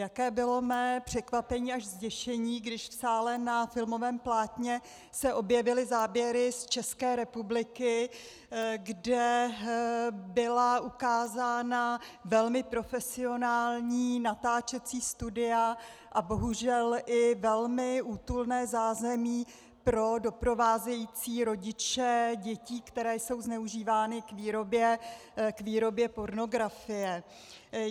Jaké bylo mé překvapení až zděšení, když v sále na filmovém plátně se objevily záběry z České republiky, kde byla ukázána velmi profesionální natáčecí studia a bohužel i velmi útulné zázemí pro doprovázející rodiče dětí, které jsou zneužívány k výrobě pornografie.